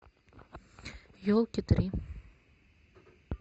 елки три